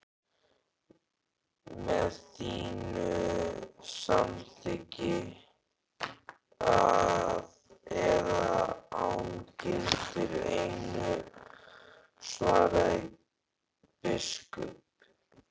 Með þínu samþykki eða án, gildir einu, svaraði biskup.